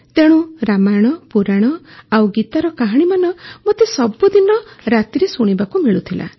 ତେଣୁ ରାମାୟଣ ପୁରାଣ ଆଉ ଗୀତାର କାହାଣୀମାନ ମୋତେ ସବୁଦିନ ରାତିରେ ଶୁଣିବାକୁ ମିଳୁଥିଲା